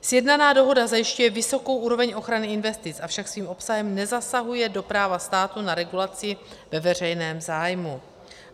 Sjednaná dohoda zajišťuje vysokou úroveň ochrany investic, avšak svým obsahem nezasahuje do práva státu na regulaci ve veřejném zájmu.